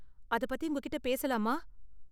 அதப் பத்தி உங்ககிட்ட பேசலாமா?